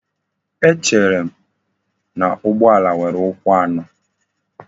Echerem na ugbo ala nwere ukwu ano?